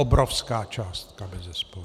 Obrovská částka bezesporu!